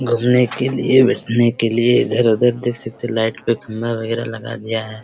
घुमने के लिए बैठने के लिए इधर-उधर देख सकते हैं लाइट पे फंदा वगैरा लगा दिया है।